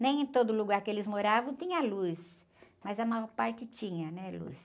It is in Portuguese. Nem em todo lugar que eles moravam tinha luz, mas a maior parte tinha, né? Luz.